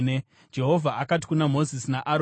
Jehovha akati kuna Mozisi naAroni,